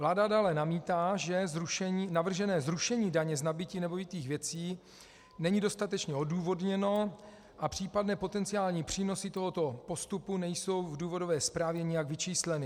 Vláda dále namítá, že navržené zrušení daně z nabytí nemovitých věcí není dostatečně odůvodněno a případné potenciální přínosy tohoto postupu nejsou v důvodové zprávě nijak vyčísleny.